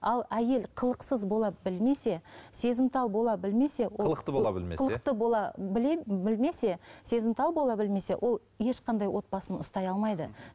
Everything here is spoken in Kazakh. ал әйел қылықсыз бола білмесе сезімтал бола білмесе ол қылықты бола білмесе қылықты бола біле білмесе сезімтал бола білмесе ол ешқандай отбасын ұстай алмайды